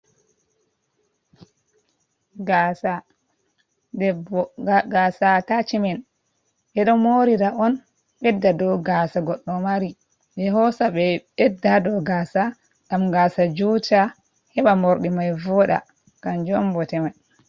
Gasa debbo. Gasa atachimen ɓe ɗo morira on ɓedda do gasa goddo mari, ɓe hosa ɓe ɓedda do gasa ngam gasa juta heba morɗi mai voda kanjum on bote mai.